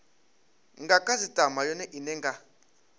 nga khasitama yone ine nga